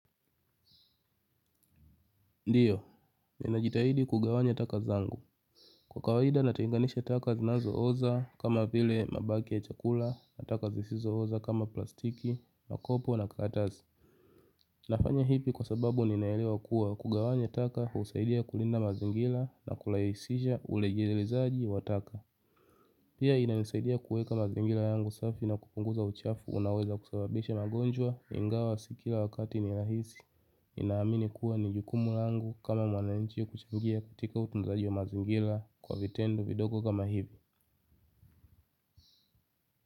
Ndiyo, ninajitahidi kugawanya taka zangu. Kwa kawaida natenganisha taka zinazooza kama vile mabaki ya chakula, na taka zisizooza kama plastiki, makopo na karatasi. Nafanya hivi kwa sababu ninaelewa kuwa kugawanya taka husaidia kulinda mazingira na kurahisisha ulegelezaji wa taka. Pia inanisaidia kuweka mazingira yangu safi na kupunguza uchafu unaoweza kusababisha magonjwa, ingawa si kila wakati ni rahisi ninaamini kuwa ni jukumu langu kama mwananchi kuchangia katika utunzaji wa mazingira kwa vitendo vidogo kama hivi.